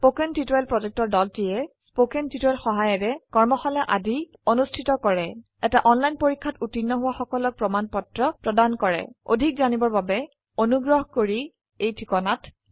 কথন শিক্ষণ প্ৰকল্পৰ দলটিয়ে কথন শিক্ষণ সহায়িকাৰে কৰ্মশালা আদি অনুষ্ঠিত কৰে এটা অনলাইন পৰীক্ষাত উত্তীৰ্ণ হোৱা সকলক প্ৰমাণ পত্ৰ প্ৰদান কৰে অধিক জানিবৰ বাবে অনুগ্ৰহ কৰি contactspoken tutorialorg এই ঠিকনাত লিখক